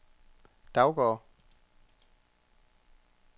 Daugård